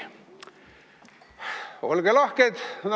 Olge lahked!